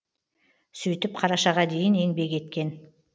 сөйтіп қарашаға дейін еңбек еткен